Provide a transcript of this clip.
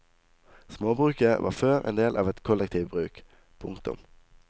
Småbruket var før en del av et kollektivbruk. punktum